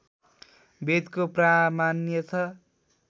वेदको प्रामाण्य छ